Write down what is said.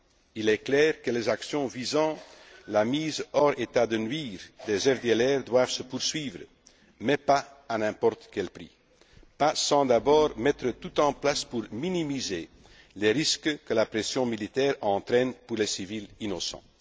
Il est clair que les actions qui visent à mettre hors d'état de nuire les FDLR doivent se poursuivre, mais pas à n'importe quel prix, pas sans avoir d'abord mis tout en place pour minimiser les risques que la pression militaire entraîne pour les civils innocents.